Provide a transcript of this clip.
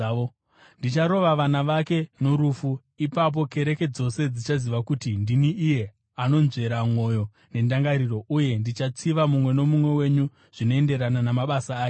Ndicharova vana vake norufu. Ipapo kereke dzose dzichaziva kuti ndini iye anonzvera mwoyo nendangariro, uye ndichatsiva mumwe nomumwe wenyu zvinoenderana namabasa ake.